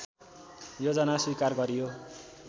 योजना स्वीकार गरियो